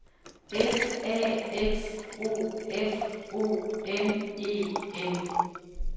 S A X O F O N E N